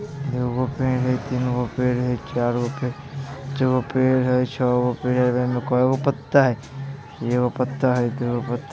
एगो पेड़ हई तीन गो पेड़ हई चार गो पेड़ हई पांच गो पेड़ हई छौ गो पेड़ हई | इमे कैगो पत्ता हई एगो पत्ता हई दूगो पत्ता हई |